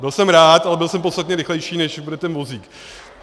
Byl jsem rád, ale byl jsem podstatně rychlejší, než bude ten vozík.